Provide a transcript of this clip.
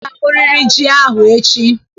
Ị ga-ahụrịrị ji ahụ echi!